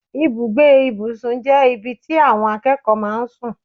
Ibùgbé ìbùsùn jẹ́ ibi tí àwọn akẹ́kọ̀ọ́ máa ń sùn.